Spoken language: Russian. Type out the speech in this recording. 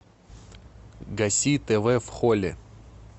гаси тв в холле